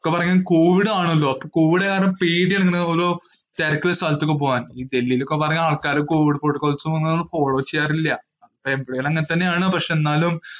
Covid ആണലോ. അപ്പോ covid കാരണം പേടി ആണ് ഓരോ തിരക്ക് ഉള്ള സ്ഥലങ്ങളിൽ ഒക്കെ പോകാൻ. ഡൽഹിയിൽ ഒക്കെ കുറെ ആള്ക്കാര് ഈ കോവിഡ് protocol ഒന്നും follow ചെയ്യാറില്ല. എവിടേം അങ്ങനെ ഒക്കെ തന്നെ ആണ്. പക്ഷെ എന്നാലും